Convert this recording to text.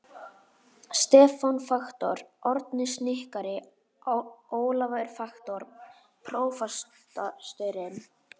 Stefán faktor, Árni snikkari, Ólafur faktor, prófasturinn.